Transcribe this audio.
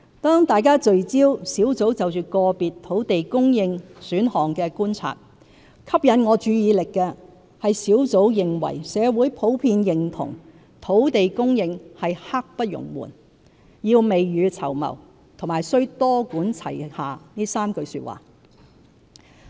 當大家聚焦專責小組就個別土地供應選項的觀察，吸引我注意力的是專責小組認為社會普遍認同土地供應是"刻不容緩"、要"未雨綢繆"和須"多管齊下"這3句話。